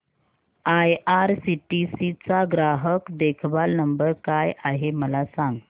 IRCTC चा ग्राहक देखभाल नंबर काय आहे मला सांग